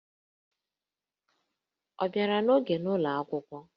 Ọ bịara n'oge n'ụlọ akwụkwọ?